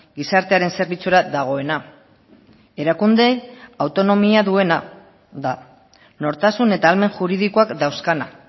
gizartearen zerbitzura dagoena erakunde autonomia duena da nortasun eta ahalmen juridikoak dauzkana